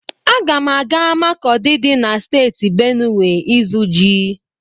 Aga m aga Makọdi dị na Steeti Benuwe ịzụ ji.